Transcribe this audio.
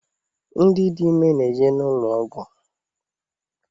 Ndị dị ime na-eje n’ụlọ ọgwụ